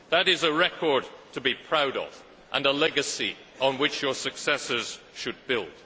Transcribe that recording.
That is a record to be proud of and a legacy on which your successors should build.